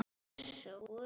Þessi var góður!